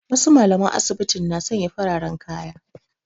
Wasu mallaman asibiti na sanya fararen kaya